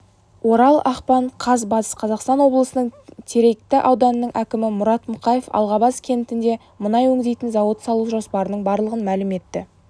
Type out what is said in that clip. орал ақпан қаз батыс қазақстан облысының теректі ауданының әкімі мұрат мұқаев алғабас кентінде мұнай өңдейтін зауыт салу жоспарының барлығын мәлім етті